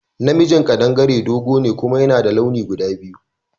Na mijin kaɗangare dogo ne kuma yana da launi guda biyu